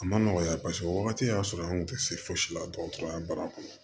A ma nɔgɔ ya paseke o wagati y'a sɔrɔ an kun tɛ se fosi la dɔgɔtɔrɔya baara kɔnɔ